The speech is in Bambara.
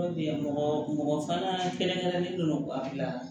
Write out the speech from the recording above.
mɔgɔ mɔgɔ fana kɛrɛnkɛrɛnnen don a dilan